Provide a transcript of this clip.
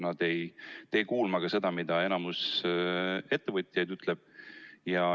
Ta ei tee kuulma ka seda, mida enamik ettevõtjaid ütleb.